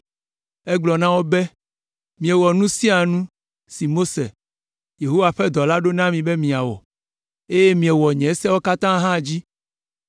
Egblɔ na wo be, “Miewɔ nu sia nu si Mose, Yehowa ƒe dɔla ɖo na mi be miawɔ, eye miewɔ nye sewo katã hã dzi.